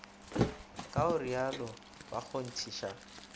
ka go rialo ba kgonthiša